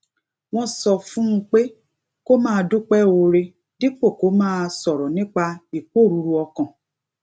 wón sọ fún un pé kó máa dúpé oore dípò kó máa sòrò nípa ìporuru okan